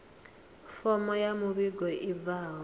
fomo ya muvhigo i bvaho